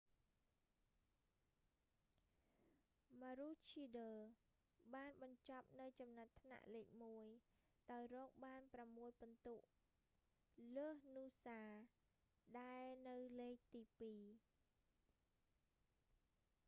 ម៉ារូឈីដ័រ maroochydore បានបញ្ចប់នៅចំណាត់ថ្នាក់លេខមួយ ដោយរកបាន ប្រាំមួយពិន្ទុលើសនូសា noosa ដែលនៅលេខទីពីរ